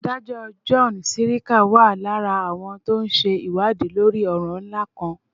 adájọ́ john sirica wà lára àwọn tó ń ṣe ìwádìí lórí ọ̀ràn ńlá kan